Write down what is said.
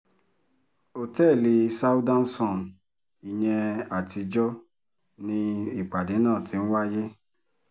ọ̀tẹ́ẹ̀lì southern sun ìyẹn àtijọ́ ni ìpàdé náà ti ń wáyé